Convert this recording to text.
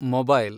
mobile